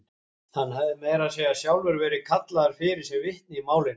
Hann hafði meira að segja sjálfur verið kallaður fyrir sem vitni í málinu.